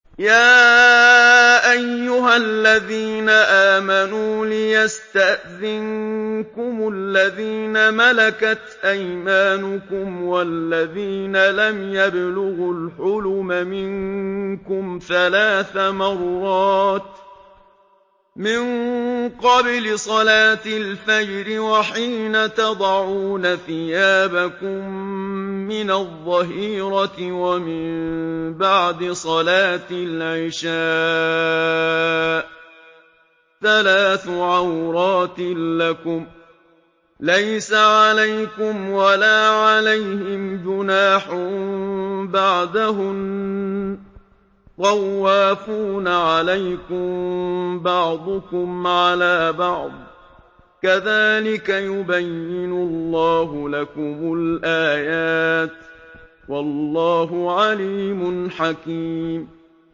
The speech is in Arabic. يَا أَيُّهَا الَّذِينَ آمَنُوا لِيَسْتَأْذِنكُمُ الَّذِينَ مَلَكَتْ أَيْمَانُكُمْ وَالَّذِينَ لَمْ يَبْلُغُوا الْحُلُمَ مِنكُمْ ثَلَاثَ مَرَّاتٍ ۚ مِّن قَبْلِ صَلَاةِ الْفَجْرِ وَحِينَ تَضَعُونَ ثِيَابَكُم مِّنَ الظَّهِيرَةِ وَمِن بَعْدِ صَلَاةِ الْعِشَاءِ ۚ ثَلَاثُ عَوْرَاتٍ لَّكُمْ ۚ لَيْسَ عَلَيْكُمْ وَلَا عَلَيْهِمْ جُنَاحٌ بَعْدَهُنَّ ۚ طَوَّافُونَ عَلَيْكُم بَعْضُكُمْ عَلَىٰ بَعْضٍ ۚ كَذَٰلِكَ يُبَيِّنُ اللَّهُ لَكُمُ الْآيَاتِ ۗ وَاللَّهُ عَلِيمٌ حَكِيمٌ